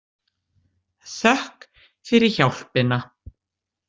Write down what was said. Þökk fyrir hjálpina.